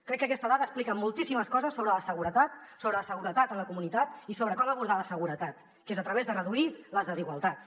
crec que aquesta dada explica moltíssimes coses sobre la seguretat sobre la seguretat en la comunitat i sobre com abordar la seguretat que és a través de reduir les desigualtats